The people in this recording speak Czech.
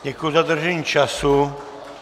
Děkuji za dodržení času.